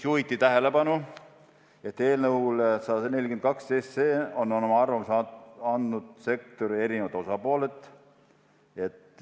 Juhiti tähelepanu, et eelnõule 142 kohta on oma arvamuse andnud sektori eri osapooled.